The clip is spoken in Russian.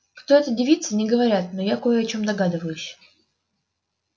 кто эта девица не говорят но я кое о чём догадываюсь